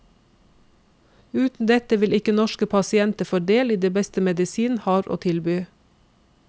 Uten dette vil ikke norske pasienter få del i det beste medisinen har å tilby.